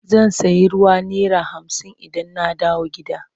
Zan sayi ruwa naira hamsin idan na dawo gida.